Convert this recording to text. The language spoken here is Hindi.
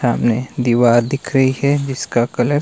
सामने दीवार दिख रही है जिसका कलर --